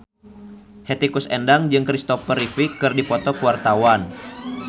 Hetty Koes Endang jeung Christopher Reeve keur dipoto ku wartawan